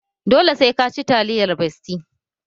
Dole sai ka ci taliyar besti!